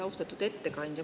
Austatud ettekandja!